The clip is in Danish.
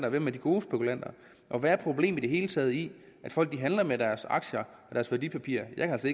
og hvem er de gode spekulanter og hvad er problemet i det hele taget i at folk handler med deres aktier og deres værdipapirer jeg kan